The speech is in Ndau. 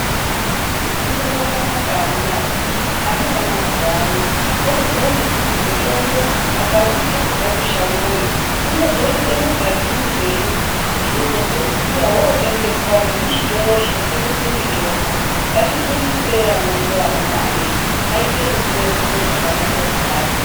Kufunda kwakanaka amunawoye. Ana emazuva ano oziya ngekuti mitombo akautsa kubva kushangoyo, unozoite mugadzirirwenyi kuti uzopedzisira votengeswa nemuzvitoro zvinotengeswe mitombo. Ngatifundisei ana edu amuna wee aite ruziwo rwakanaka kudai.